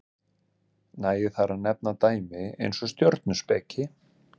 nægir þar að nefna dæmi eins og stjörnuspeki